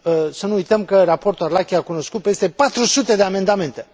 Să nu uităm că raportul Arlacchi a cunoscut peste patru sute de amendamente.